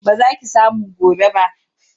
Ba za ki samu gobe ba.